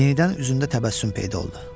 Yenidən üzündə təbəssüm peyda oldu.